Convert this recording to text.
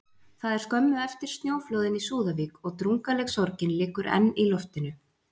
Það er skömmu eftir snjóflóðin í Súðavík, og drungaleg sorgin liggur enn í loftinu.